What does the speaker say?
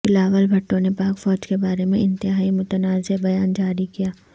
بلاول بھٹو نےپاک فوج کے بارے میں انتہائی متنازعہ بیان جاری کردیا